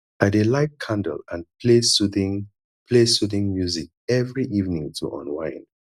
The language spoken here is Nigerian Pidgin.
i dey light candle and play soothing play soothing music every evening to unwind